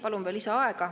Palun lisaaega!